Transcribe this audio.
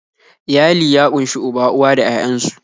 Iyali ya ƙunshi uba, uwa da 'ya'yan su